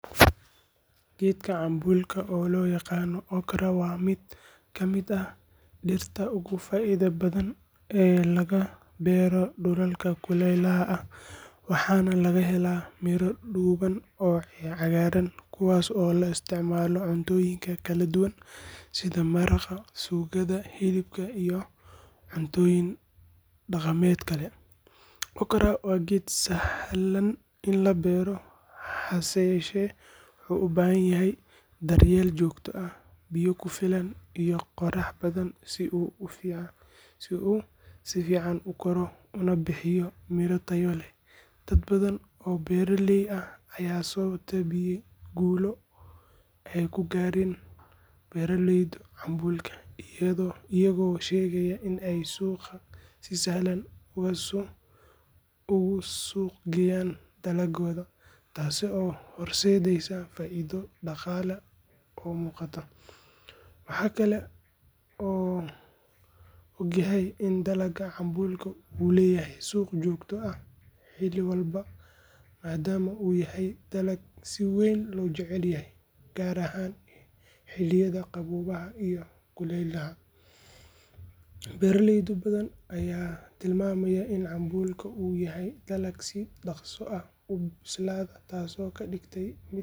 Geedka cambuulka oo loo yaqaan okra waa mid ka mid ah dhirta ugu faa’iidada badan ee laga beero dhulalka kulaylaha ah, waxaana laga helaa miro dhuuban oo cagaaran kuwaas oo loo isticmaalo cuntooyin kala duwan sida maraq, suugada hilibka, iyo cuntooyin dhaqameed kale. Okra waa geed sahlan in la beero, hase yeeshee wuxuu u baahan yahay daryeel joogto ah, biyo ku filan, iyo qorrax badan si uu si fiican u koro una bixiyo miro tayo leh. Dad badan oo beeraley ah ayaa soo tebiyey guulo ay ka gaareen beeraleyda cambuulka, iyagoo sheegay in ay suuqa si sahlan ugu suuq geeyaan dalagooda, taas oo u horseeday faa’iido dhaqaale oo muuqata. Waxaa la og yahay in dalagga cambuulka uu leeyahay suuq joogto ah oo xilli walba ah, maadaama uu yahay dalag si weyn loo jecel yahay, gaar ahaan xilliyada qaboobaha iyo kulaylaha. Beeraley badan ayaa tilmaamay in cambuulka uu yahay dalag si dhaqso ah u bislaada, taasoo ka dhigaysa.